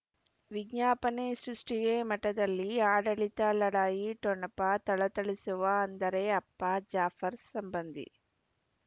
ವಿಜ್ಞಾಪನೆ ಸೃಷ್ಟಿಗೆ ಮಠದಲ್ಲಿ ಆಡಳಿತ ಲಢಾಯಿ ಠೊಣಪ ಥಳಥಳಿಸುವ ಅಂದರೆ ಅಪ್ಪ ಜಾಫರ್ ಸಂಬಂಧಿ